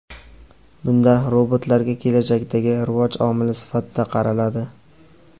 Bunda robotlarga kelajakdagi rivoj omili sifatida qaraladi.